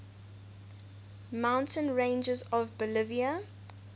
mountain ranges of bolivia